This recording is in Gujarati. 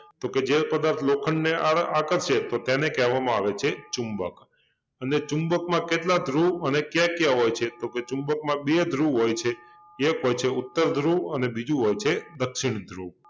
તો કે જે પદાર્થ લોખંડને આરે આકર્ષે તો તેને કહેવામાં આવે છે ચુંબક અને ચુંબકમાં કેટલા ધ્રુવ અને ક્યા ક્યા હોય છે? ચુંબકમાં બે ધ્રુવ હોય છે એક હોય છે ઉત્તર ધ્રુવ અને બીજુ હોય છે દક્ષિણ ધ્રુવ